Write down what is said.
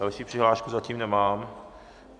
Další přihlášku zatím nemám.